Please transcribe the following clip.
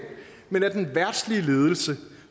men at den verdslige ledelse